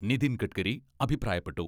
നിതിൻ ഗഡ്കരി അഭിപ്രായപ്പെട്ടു.